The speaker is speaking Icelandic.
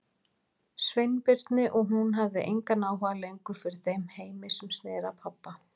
Sveinbirni og hún hafði engan áhuga lengur fyrir þeim heimi sem sneri að pabba.